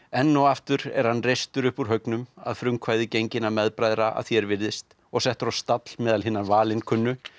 enn og aftur er hann reistur upp úr haugnum að frumkvæði genginna meðbræðra að því er virðist og settur á stall meðal hinna valinkunnu